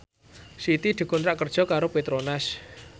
Siti dikontrak kerja karo Petronas